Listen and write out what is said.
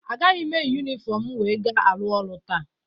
Agaghị m eyi yunifọmu m wee ga-arụ ọrụ taa.